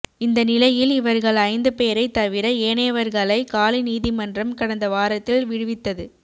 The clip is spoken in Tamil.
இந்தநிலையில் இவர்கள் ஐந்து பேரைத் தவிர ஏனையவர்களை காலி நீதிமன்றம் கடந்த வாரத்தில் விடுவித்தது்